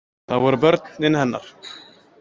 Það voru börnin hennar.